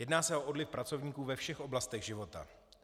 Jedná se o odliv pracovníků ve všech oblastech života.